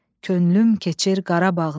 Könlüm keçir Qarabağdan.